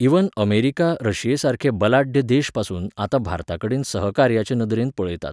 even America रशियेसारके बलाढ्य देशपासून आतां भारताकडेन सहकार्याचे नदरेन पळयतात